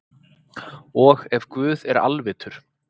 og ef guð er alvitur